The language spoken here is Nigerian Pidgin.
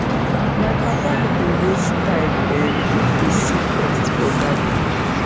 my papa no dey waste time um if he see pest for garden